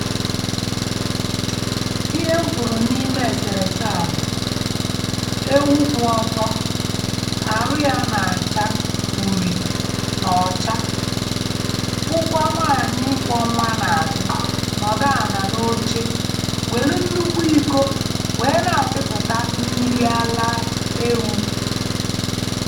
Ihe m fụrụ n'ime èsèrèsè a bụ ewụ̀ kwụ̀ ọtọ, arụ ya nà-àcha ụ̀rị̀ nà ọ́cha, fụ̀kwa nwaànyị kwọ́ nwa nà-azụ nọdụ ànà n'ọchè wèlụ ṅnụkwụ ịkọ́ wèe nà apịpụta mmịrị ala ewụ̀.